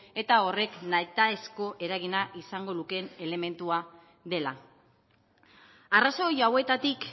eta horrek nahitaezko eragina izango lukeen elementua dela arrazoi hauetatik